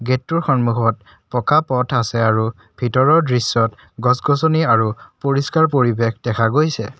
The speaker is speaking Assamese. গেটটোৰ সন্মুখত পকা পথ আছে আৰু ভিতৰৰ দৃশ্যত গছ গছনি আৰু পৰিষ্কাৰ পৰিৱেশ দেখা গৈছে।